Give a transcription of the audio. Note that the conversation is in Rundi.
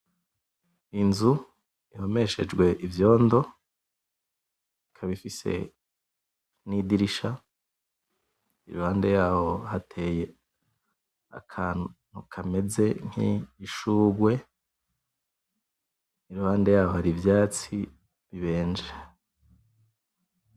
Inzu ihomeshejwe ivyondo ikaba ifise nidirisha , iruhande yaho hateye akantu kameze nkishugwe iruhande yaho hari ivyatsi bibenje .